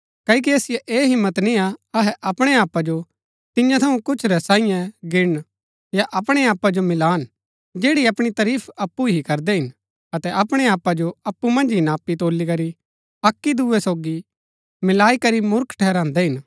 क्ओकि असिओ ऐह हिम्मत निय्आ अहै अपणै आपा जो तियां थऊँ कुछ रै सांईये गिणन या अपणै आपा जो मिलान जैड़ी अपणी तरीफ अप्पु ही करदै हिन अतै अपणै आपा जो अप्पु मन्ज ही नापी तौलीकरी अक्की दूये सोगी मिलाई करी मूर्ख ठहरान्दै हिन